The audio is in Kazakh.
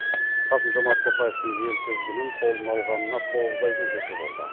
қасым жомарт тоқаевтың ел тізгінін қолына алғанына тоғыз айдың жүзі болды